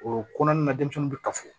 O kɔnɔna na denmisɛnninw bɛ ka fɔ